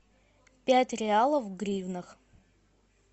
пять реалов в гривнах